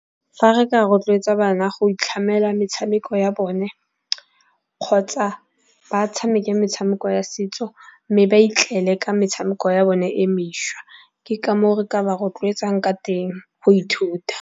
Fa re ka rotloetsa bana go itlhamela metshameko ya bone kgotsa ba tshameka metshameko ya setso, mme ba itlele ka metshameko ya bone e mešwa. Ke ka moo re ka ba rotloetsang ka teng go ithuta.